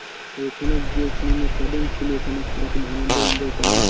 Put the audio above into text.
তো ওখানে গিয়ে তুই কদিন ছিলিস ওখানে কিরকম আনন্দ enjoy করলি?